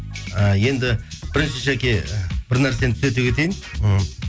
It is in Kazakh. і енді бірінші жаке бір нәрсені түзете кетейін мхм